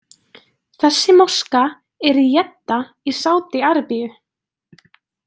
Þessi moska er í Jedda í Sádi-Arabíu.